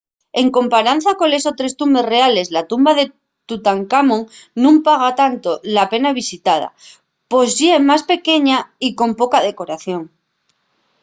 en comparanza coles otres tumbes reales la tumba de tutancamón nun paga tanto la pena visitala pos ye más pequeña y con poca decoración